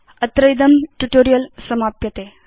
अत्र इदं ट्यूटोरियल् समाप्यते